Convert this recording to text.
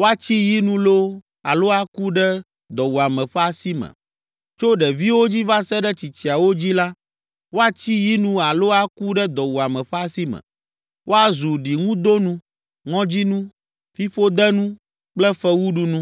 woatsi yi nu loo, alo aku ɖe dɔwuame ƒe asi me. Tso ɖeviwo dzi va se ɖe tsitsiawo dzi la, woatsi yi nu alo aku ɖe dɔwuame ƒe asi me. Woazu ɖiŋudonu, ŋɔdzinu, fiƒodenu kple fewuɖunu.